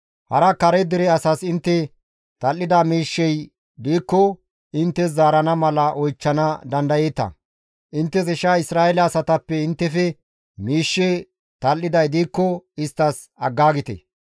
Hara kare dere asas intte tal7ida miishshey diikko inttes zaarana mala oychchana dandayeeta; inttes isha Isra7eele asatappe inttefe miishshe tal7iday diikko isttas aggaagite.